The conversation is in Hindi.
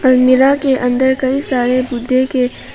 अलमीरा के अंदर कई सारे बुध्दे के।